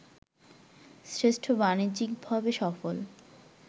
শ্রেষ্ঠ বাণিজ্যিকভাবে সফল